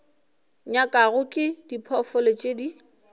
nyakwago ke diphoofolo tše di